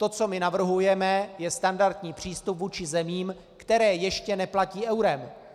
To, co my navrhujeme, je standardní přístup vůči zemím, které ještě neplatí eurem.